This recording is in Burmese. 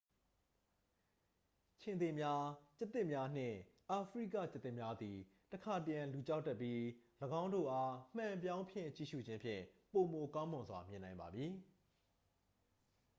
ခြင်္သေ့များ ကျားသစ်များနှင့် အာဖရိကကျားသစ်များသည် တခါတရံ လူကြောက်တတ်ပြီး ၎င်းတို့အား မှန်ပြောင်းဖြင့် ကြည့်ရှု့ခြင်းဖြင့် ပိုမိုကောင်းမွန်စွာမြင်နိုင်ပါမည်